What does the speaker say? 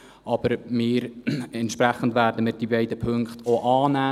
Wir werden entsprechend die beiden Punkte auch annehmen.